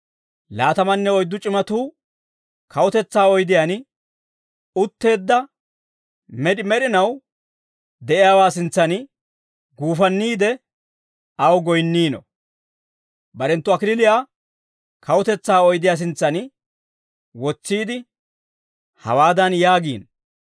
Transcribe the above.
laatamanne oyddu c'imatuu kawutetsaa oydiyaan utteedda med'i med'inaw de'iyaawaa sintsan guufanniide, aw goyinniino; barenttu kallachchaa kawutetsaa oydiyaa sintsan wotsiide hawaadan yaagiino.